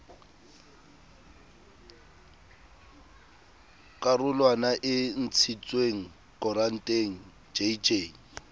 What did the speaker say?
karolwana e ntshitsweng koranteng jj